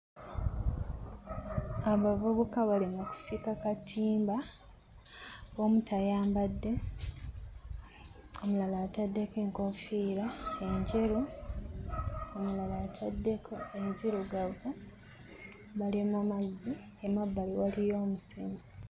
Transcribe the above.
Abavubuka bali mu kusika katimba, omu tayambadde, omulala ataddeko enkofiira enjeru, omulala ataddeko enzirugavu bali mu mazzi; emabbali waliyo omusenyu.